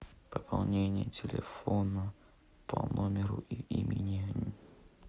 пополнение телефона по номеру и имени